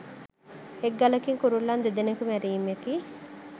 එක් ගලකින් කුරුල්ලන් දෙදෙනකු මැරීමකි